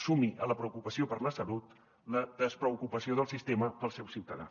sumi a la preocupació per la salut la despreocupació del sistema pel seu ciutadà